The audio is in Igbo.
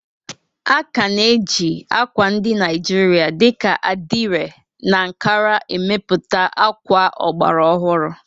A ka na-eji ákwà ndị Naijiria dị ka adire na Ankara emepụta akwa ọgbara ọhụrụ.